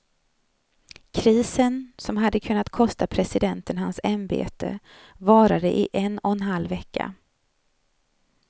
Krisen, som hade kunnat kosta presidenten hans ämbete, varade i en och en halv vecka.